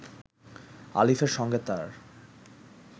আলিফের সঙ্গে তার